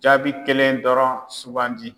Jaabi kelen dɔrɔn sugandi.